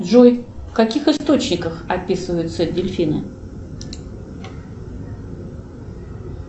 джой в каких источниках описываются дельфины